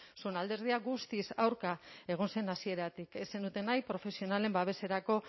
zuen alderdia guztiz aurka egon zen hasieratik ez zenuten nahi profesionalen babeserako